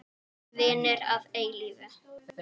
Vinir að eilífu.